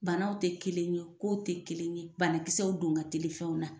Banaw tɛ kelen ye, kow tɛ kelen ye, banakisɛw don ka teli fɛnw na.